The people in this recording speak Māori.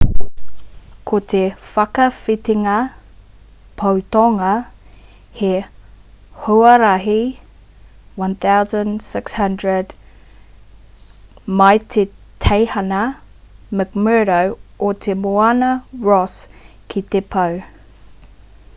ko te whakawhitinga pou tonga ara matua rānei he huarahi 1600 km mai i te teihana mcmurdo o te moana ross ki te pou